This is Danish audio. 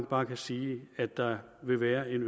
bare sige at der vil være en